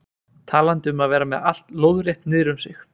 Talandi um að vera með allt lóðrétt niður um sig.